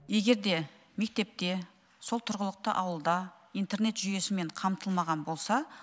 егер де мектепте сол тұрғылықты ауылда интернет жүйесімен қамтылмаған болса